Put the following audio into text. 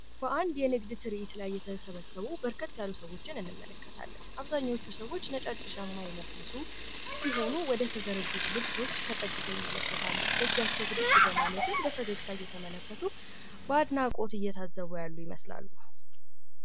በአንድ የንግድ ትርዒት ላይ የተሰበሰቡ በርከት ያሉ ሰዎችን እንመለከታለን አብዛኞቹ ሰዎች ነጫጭ ሸማ የለበሱ ሲሆኑ ወደ ተዘረጉት ልብሶች ተጠግተው ይመለከታሉ በእጃቸው ብድግ በማለትም በፈገግታ እየተመለከቱ በአድናቆት እየታዘቡ ያሉ ይመስላሉ ።